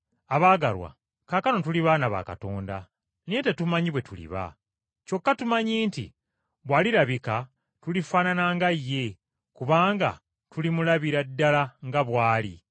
Abaagalwa, kaakano tuli baana ba Katonda, naye tetumanyi bwe tuliba. Kyokka tumanyi nti bw’alirabika tulifaanana nga ye, kubanga tulimulabira ddala nga bw’ali.